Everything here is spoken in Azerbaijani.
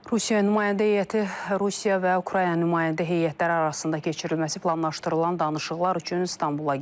Rusiya nümayəndə heyəti Rusiya və Ukrayna nümayəndə heyətləri arasında keçirilməsi planlaşdırılan danışıqlar üçün İstanbula gəlib.